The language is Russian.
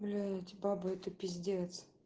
блять бабы это пиздец